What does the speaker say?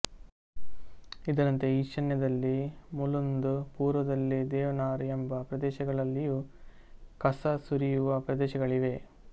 ಇದರಂತೆ ಈಶಾನ್ಯದಲ್ಲಿ ಮುಲುಂದ್ ಪೂರ್ವದಲ್ಲಿ ದೇವನಾರ್ ಎಂಬ ಪ್ರದೇಶಗಳಲ್ಲಿಯೂ ಕಸ ಸುರಿಯುವ ಪ್ರದೇಶಗಳಿವೆ